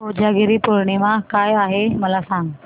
कोजागिरी पौर्णिमा काय आहे मला सांग